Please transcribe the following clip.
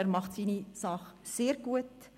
Er macht seine Sache sehr gut.